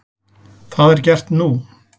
Það er gert nú.